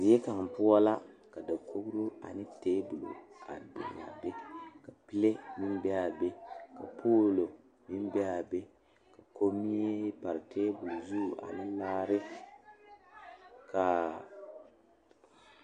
Die kaŋ poɔ la ka dakogre ane tabol biŋ a be ka bibile a be a be ka poolo meŋ be a be komie pare tabol zu ane laare kaa.